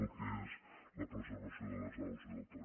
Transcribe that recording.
el que és la preservació de les aus i del territori